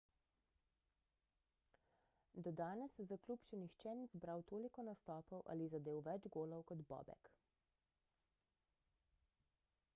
do danes za klub še nihče ni zbral toliko nastopov ali zadel več golov kot bobek